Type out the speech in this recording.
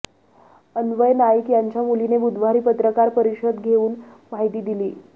अन्वय नाईक यांच्या मुलीने बुधवारी पत्रकार परिषद घेऊन माहिती दिली